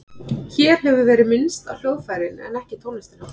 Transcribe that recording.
Hér hefur verið minnst á hljóðfærin en ekki tónlistina.